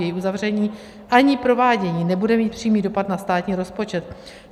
Její uzavření ani provádění nebude mít přímý dopad na státní rozpočet.